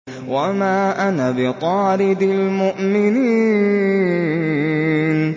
وَمَا أَنَا بِطَارِدِ الْمُؤْمِنِينَ